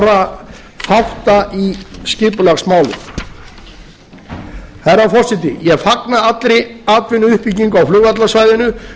óljósra þátta í skipulagsmálum herra forseti ég fagna allri atvinnuuppbyggingu á flugvallarsvæðinu